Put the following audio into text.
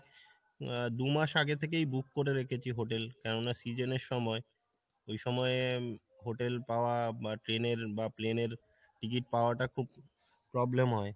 আহ দু মাস আগে থেকেই book করে রেখেছি hotel কেননা season এর সময়, ওই সময়ে hotel পাওয়া বা train এর বা plane এর ticket পাওয়া টা খুব problem হয়,